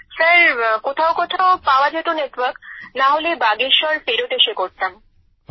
sir কোথাও কোথাও পাওয়া যেত নেটওয়ার্ক নাহলে বাগেশ্বর ফেরত এসে করতাম